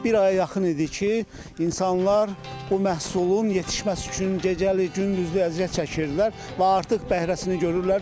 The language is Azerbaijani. Bir aya yaxın idi ki, insanlar o məhsulun yetişməsi üçün gecəli gündüzlü əziyyət çəkirdilər və artıq bəhrəsini görürlər.